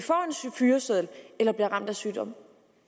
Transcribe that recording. fyreseddel eller bliver ramt af sygdom